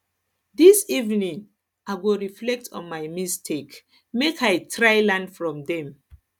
dis evening i go reflect on my mistakes make i try learn from dem